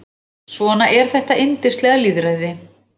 Svona er þetta yndislega lýðræði.